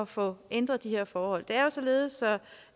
få ændret de her forhold det er således